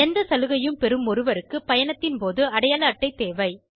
எந்த சலுகையும் பெறும் ஒருவருக்குப் பயணத்தின் போது அடையாள அட்டை தேவை